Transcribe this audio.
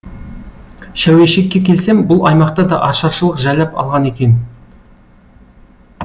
шәуешекке келсем бұл аймақты да ашаршылық жайлап алған екен